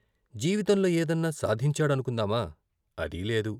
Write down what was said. జీవితంలో ఏదన్నా సాధించాడనుకుందామా అదీ లేదు.